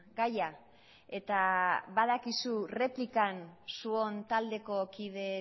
gaia eta badakizu erreplikan zuon taldeko kide